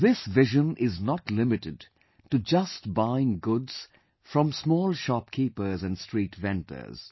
This vision is not limited to just buying goods from small shopkeepers and street vendors